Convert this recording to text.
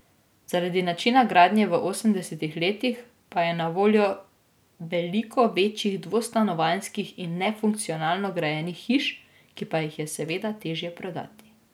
Zaradi načina gradnje v osemdesetih letih pa je na voljo veliko večjih, dvostanovanjskih in nefunkcionalno grajenih hiš, ki pa jih je seveda težje prodati.